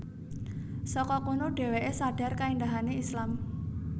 Saka kono dheweke sadhar kaendahane Islam